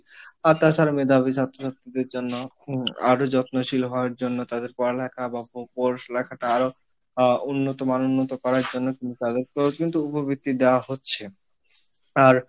আর তাছারা মেধাবী ছাত্রদের জন্য আরো যত্নশীল হওয়ার জন্য তাদের পড়ালেখা বা আরো আহ উন্নত মান উন্নত করার জন্য দেওয়া হচ্ছে আর